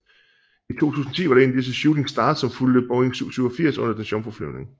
I 2010 var det en af disse Shooting Stars som fulgte Boeing 787 under dens jomfruflyvning